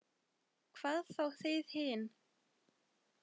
Hvað þá þið hin.